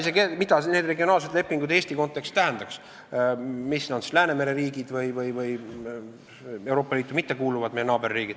Ma ei tea isegi, mida need regionaalsed lepingud Eesti kontekstis tähendaks, kuuluvad sinna alla siis Läänemere riigid või meie naaberriigid, kes Euroopa Liitu ei kuulu.